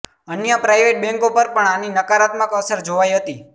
અન્ય પ્રાઇવેટ બેન્કો પર પણ આની નકારાત્મક અસર જોવાઈ હતી